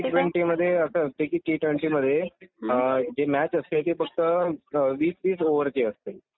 T ट्वेंटीमधे असं असते की टी ट्वेंटीमधे जी मॅच असते ती फक्त वीस वीस ओवरची असते.